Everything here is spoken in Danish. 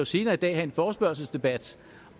senere i dag have en forespørgselsdebat